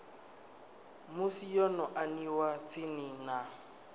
musi yo aniwa tsini na